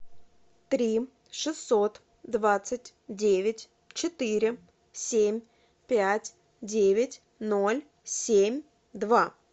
три шестьсот двадцать девять четыре семь пять девять ноль семь два